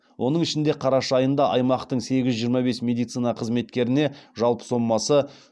оның ішінде қараша айында аймақтың сегіз жүз жиырма бес медицина қызметкеріне жалпы сомасы